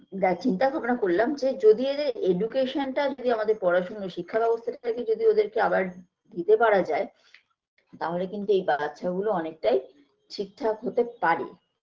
দা চিন্তা ভাবনা করলাম যে যদি এদের education -টা যদি আমাদের পড়াশুনা শিক্ষা ব্যবস্থাটাকে যদি ওদের কে আবার দিতে পারা যায় তাহলে কিন্তু এই বাচ্ছা গুলো অনেকটাই ঠিকঠাক হতে পারে